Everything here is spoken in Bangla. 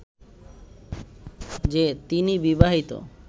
যে তিনি বিবাহিত